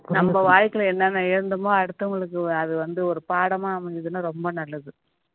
நம்ம வாழ்க்கையில என்னென்ன இழந்தாமோ அடுத்தவங்களுக்கு அது வந்து ஒரு பாடமா அமைஞ்சதுன்னா ரொம்ப நல்லது